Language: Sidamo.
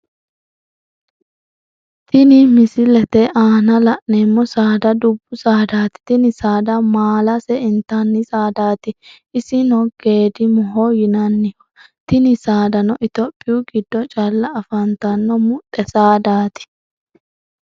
Tinni misilete aanna la'neemo saada dubu saadaati tinni saada maalase intanni saadaati isino geedimoho yinanniho tinni saadano itophiyu gido calla afantano muxe saadaati.